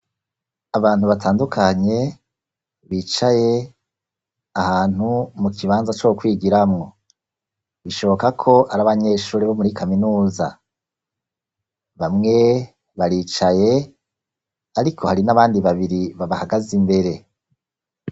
Abantu batandukanye, bicaye ahantu mu kibanza co kwigiramw. Bishoboka ko ari abanyeshuri bo muri kaminuza. Bamwe baricaye, ariko hari n'abandi babiri babahagaze imbere.